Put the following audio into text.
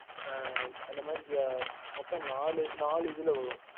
அந்த மாரி மொத்தம் நாலு இதுல வரும்